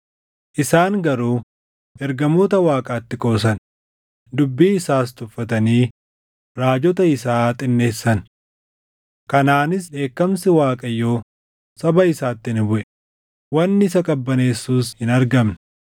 Isaan garuu ergamoota Waaqaatti qoosan; dubbii isaas tuffatanii raajota isaa xinneessan. Kanaanis dheekkamsi Waaqayyoo saba isaatti ni buʼe; wanni isa qabbaneessus hin argamne.